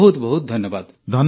ବହୁତ ବହୁତ ଧନ୍ୟବାଦ